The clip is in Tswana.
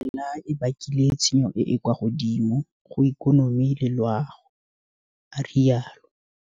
Merwalela e bakile tshenyo e e kwa godimo go ikonomi le loago, a rialo.